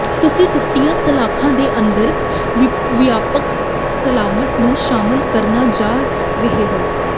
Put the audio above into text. ਤੁਸੀਂ ਟੁੱਟੀਆਂ ਸਲਾਖਾਂ ਦੇ ਅੰਦਰ ਵਿਆਪਕ ਸਲਾਮਤ ਨੂੰ ਸ਼ਾਮਲ ਕਰਨ ਜਾ ਰਹੇ ਹੋ